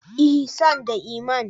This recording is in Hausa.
Ihsan da Iman.